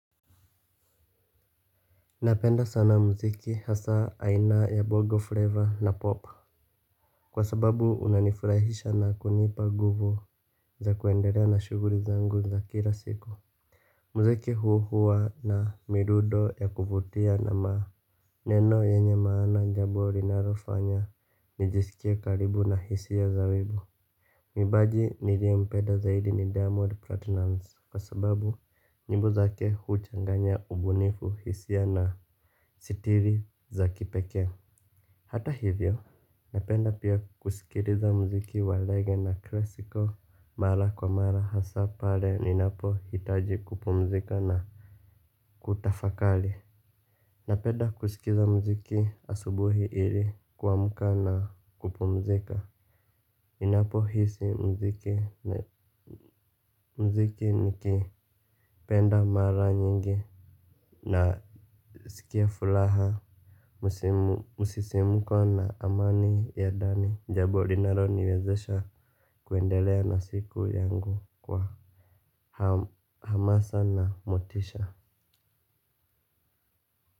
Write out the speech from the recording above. Napenda sana mziki hasa aina ya bogo flavor na pop. Kwa sababu unanifurahisha na kunipa nguvu za kuendelea na shuguli zangu za kila siku. Mziki hukuwa na midudo ya kuvutia na maa. Neno yenye maana nijambo naliofanya nijisikie karibu na hisa za zabibu. Mwimbaji nilie mpenda zaidi ni Diamond Platinum kwa sababu nyimbo zake huchanganya ubunifu hisa ya na sitiri za kipekee. Hata hivyo. Napenda pia kusikiliza muziki wa rege na klesiko mara kwa mara hasa pale ninapo hitaji kupumzika na kutafakali. Napenda kusikiza mziki asubuhi ili kuamka na kupumzika. Ninapo hisi mziki napenda pia kusikiliza mziki regeee na klesiko. Mara kwa mara hasa pale ninapo hitaji kupumzika na kutafakari.